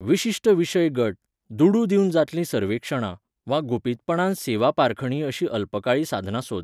विशिश्ट विशय गट, दुडू दिवन जातलीं सर्वेक्षणां, वा गुपीतपणान सेवा पारखणी अशीं अल्पकाळी साधनां सोद.